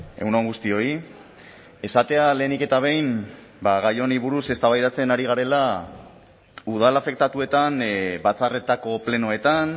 egun on guztioi esatea lehenik eta behin gai honi buruz eztabaidatzen ari garela udal afektatuetan batzarretako plenoetan